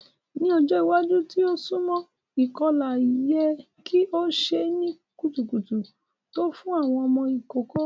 Ni ọjọ iwaju ti o sunmọ, ikọla yẹ ki o ṣe ni kutukutu to fun awọn ọmọ ikoko.